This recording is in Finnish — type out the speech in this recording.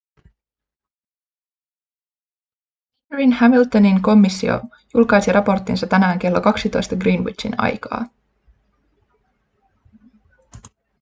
bakerin-hamiltonin komissio julkaisi raporttinsa tänään kello 12 greenwichin aikaa